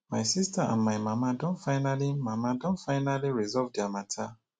my sister and my mama don finally mama don finally resolve their matter